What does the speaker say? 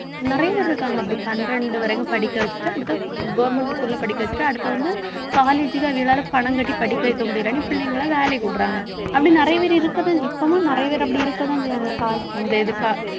நிறைய பேர் இருக்காங்க அப்படி பன்னிரண்டு வரைக்கும் படிக்க வச்சுட்டு அடுத்து government school ல படிக்க வச்சுட்டு அடுத்து வந்து college க்கு அவங்களால பணம் கட்டி படிக்க வைக்க முடியலைன்னு பிள்ளைங்களை வேலைக்கு விடறாங்க அப்படி நிறைய பேர் இருக்கத்தா~ இப்பவும் நிறைய பேர் அப்படி இருக்கத்தான் செய்வாங்க இந்த இதுக்கு